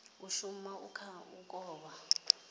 ashu a kha u kovha